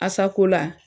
Asakola